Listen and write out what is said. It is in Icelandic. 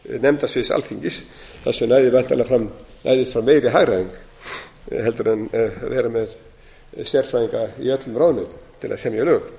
nefndasvið alþingis þar sem næðist væntanlega fram meiri hagræðing en að vera með sérfræðinga í öllum ráðuneytum til að semja lög